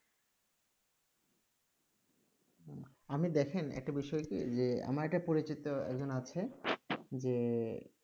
আপনি দেখেন একটা বিষয় কি যে আমার একটা পরিচিত একজন আছে যে